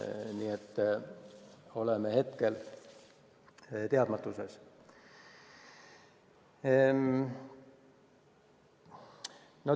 Nii et oleme hetkel teadmatuses.